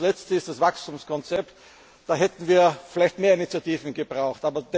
Das Letzte ist das Wachstumskonzept. Da hätten wir vielleicht mehr Initiativen gebraucht.